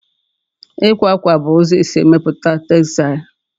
Ịkwa akwa bụ ụzọ e si emepụta textile